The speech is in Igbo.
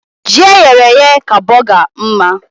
Ji eyere èyé ka bọgar mma